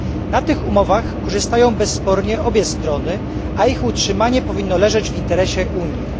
Na tych umowach korzystają bezspornie obie strony, a ich utrzymanie powinno leżeć w interesie Unii.